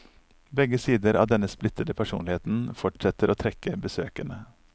Begge sider av denne splittede personlighet fortsetter å trekke besøkende.